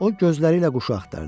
O gözləri ilə quşu axtardı.